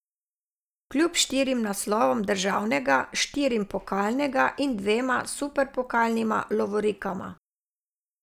Kljub štirim naslovom državnega, štirim pokalnega in dvema superpokalnima lovorikama.